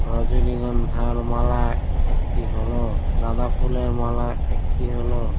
রজনীগন্ধার মালা একটি হল। গাঁদা ফুলের মালা একটি হল।